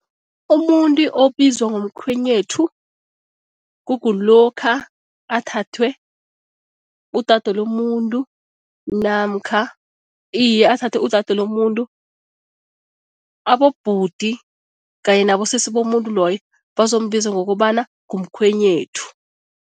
Umuntu obizwa ngomkhwenyethu kukulokha athathwe ngudade lomuntu namkha, iye, athathe udade lomuntu, abobhuti kanye nabosesi bomuntu loyo bazombiza ngokobana ngumkhwenyethu.